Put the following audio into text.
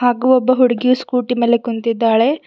ಹಾಗೂ ಒಬ್ಬ ಹುಡುಗಿ ಸ್ಕೂಟಿ ಮೇಲೆ ಕುಂತ್ತಿದಾಳೆ.